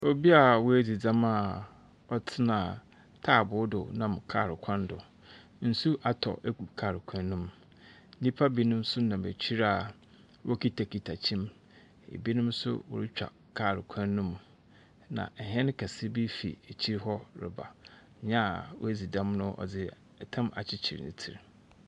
Obia wue de dɛm a ɔtena taabu do nam kaal kwan do. Nsu atɔ egu kwan no mu. Nipa bi no so nam akyi a wɔ kita kita ɛkyin. Ɛbinom so wɔretwa kaal kwan no mu. Ena ɛhɛn kɛse bi ekyir hɔ reba. Nia wɔdzi dɛm no ɔdzi ɛtam akyikyir ni tir.